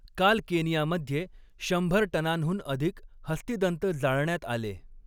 काल केनियामध्ये, शंभर टनांहून अधिक हस्तिदंत जाळण्यात आले.